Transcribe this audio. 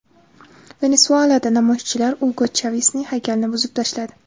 Venesuelada namoyishchilar Ugo Chavesning haykalini buzib tashladi.